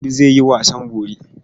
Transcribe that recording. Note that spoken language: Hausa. Audu zai yi wasan bori.